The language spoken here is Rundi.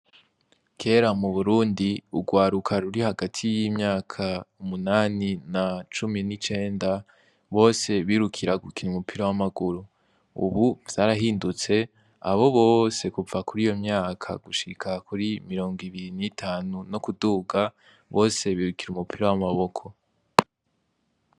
Kera mu Burundi urwaruka ruri hagati y'imyaka umunani na cumi n'icenda bose birukira gukina umupira w'amaguru, ubu vyarahindutse abo bose kuva kuri iyo myaka gushika kuri mirongo ibirinu itanu no kuduga bose birukira umupira w'amaboko wawa.